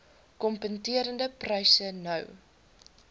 kompeterende pryse nou